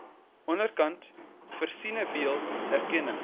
onderkant versinnebeeld erkenning